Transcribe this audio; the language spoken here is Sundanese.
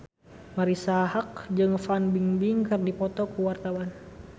Marisa Haque jeung Fan Bingbing keur dipoto ku wartawan